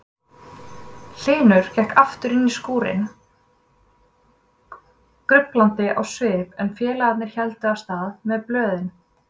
Hlynur gekk aftur inní skúrinn gruflandi á svip en félagarnir héldu af stað með blöðin.